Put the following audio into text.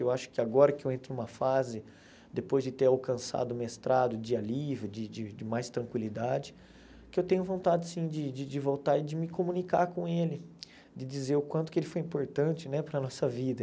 Eu acho que agora que eu entro em uma fase, depois de ter alcançado o mestrado de alívio, de de de mais tranquilidade, que eu tenho vontade, sim, de de de voltar e de me comunicar com ele, de dizer o quanto que ele foi importante né para a nossa vida.